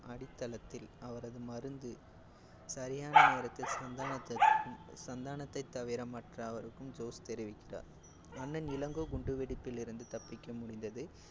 அடித்தளத்தில் அவரது மருந்து சரியான நேரத்தில் சந்தானத்திற்கு~ சந்தானத்தை தவிற மற்ற அவருக்கும் ஜோஸ் தெரிவிக்கிறார். அண்ணன் இளங்கோ குண்டுவெடிப்பிலிருந்து தப்பிக்க முடிந்தது.